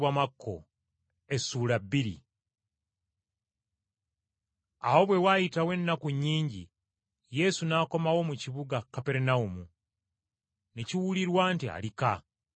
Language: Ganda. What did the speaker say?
Awo bwe waayitawo ennaku nnyingi Yesu n’akomawo mu kibuga Kaperunawumu, ne kiwulirwa nti ali ka.